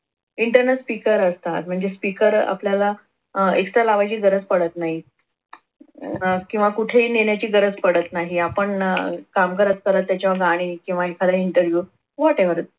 internal speaker असतात म्हणजे speaker आपल्याला अह extra लावायची गरज पडत नाही अह किंवा कुठेही नेण्याची गरज पडत नाही आपण काम करत करत याच्यावर गाणी किंवा एखादा interview whatever